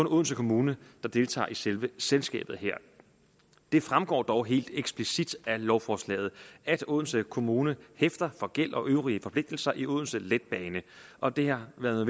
odense kommune der deltager i selve selskabet her det fremgår dog helt eksplicit af lovforslaget at odense kommune hæfter for gæld og øvrige forpligtelser i odense letbane og det har været